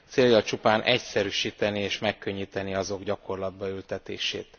célja csupán egyszerűsíteni és megkönnyíteni azok gyakorlatba ültetését.